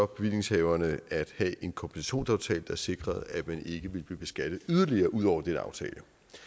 bevillingshaverne at have en kompensationsaftale der sikrede at man ikke ville blive beskattet yderligere ud over denne aftale